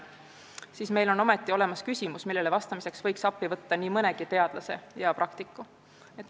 Samas on meil olemas sellega seotud küsimused, millele vastamiseks võiks appi võtta nii mõnegi teadlase ja praktiku.